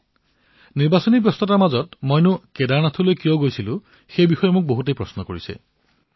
বহু লোকে মোক নিৰ্বাচনৰ ধামখুমীয়াতমই কেদাৰনাথলৈ কিয় গৈছিলো বহু প্ৰশ্ন সুধিছিল